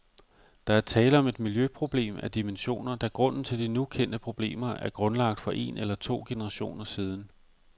Der er tale om et miljøproblem af dimensioner, da grunden til de nu kendte problemer er grundlagt for en eller to generationer siden.